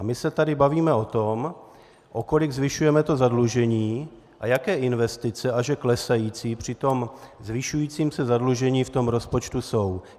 A my se tady bavíme o tom, o kolik zvyšujeme zadlužení a jaké investice, a že klesající při tom zvyšujícím se zadlužení v tom rozpočtu jsou.